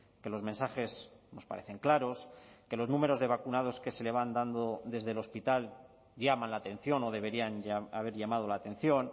que los mensajes nos parecen claros que los números de vacunados que se le van dando desde el hospital llaman la atención o deberían haber llamado la atención